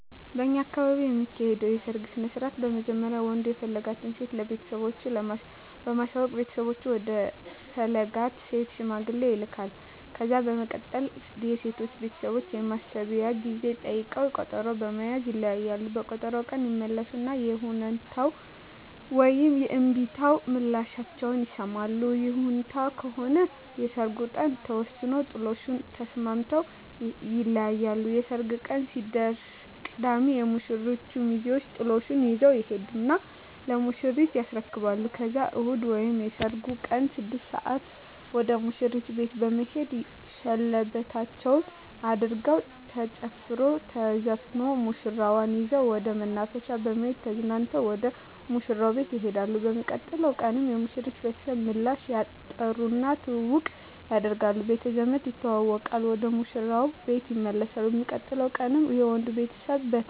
በእኛ አካባቢ የሚካሄደዉ የሰርግ ስነስርአት በመጀመሪያ ወንዱ የፈለጋትን ሴት ለቤተሰቦቹ በማሳወቅ ቤተሰቦቹ ወደ ፈለጋት ሴት ሽማግሌ ይላካል። ከዛ በመቀጠል የሴቶቹ ቤተሰቦች የማሰቢያ ጊዜ ጠይቀዉ ቀጠሮ በመያዝ ይለያያሉ። በቀጠሮዉ ቀን ይመለሱና የይሁንታ ወይም የእምቢታ ምላሻቸዉን ይሰማሉ። ይሁንታ ከሆነ የሰርጉ ቀን ተወስኖ ጥሎሹን ተስማምተዉ ይለያያሉ። የሰርጉ ቀን ሲደርስ ቅዳሜ የሙሽሮቹ ሚዜወች ጥሎሹን ይዘዉ ይሄዱና ለሙሽሪት ያስረክባሉ ከዛም እሁድ ወይም የሰርጉ ቀን 6 ሰአት ወደ ሙሽሪት ቤት በመሄድ ሸለበታቸዉን አድርገዉ ተጨፍሮ ተዘፍኖ ሙሽራዋን ይዘዉ ወደ መናፈሻ በመሄድ ተዝናንተዉ ወደ ሙሽራዉ ቤት ይሄዳሉ። በሚቀጥለዉ ቀን የሙሽሪት ቤተሰብ ምላሽ ይጠሩና ትዉዉቅ አድርገዉ ቤተዘመድ ተዋዉቀዉ ወደ ሙሽራዉ ቤት ይመለሳሉ። በሚቀጥለዉ ቀንም የወንዱ ቤተሰብ በተራዉ ምላሽ ያደ